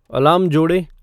alarm जोड़ें